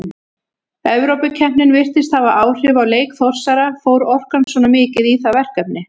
Evrópukeppnin virtist hafa áhrif á leik Þórsara, fór orkan svona mikið í það verkefni?